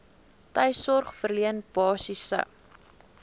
tuissorg verleen basiese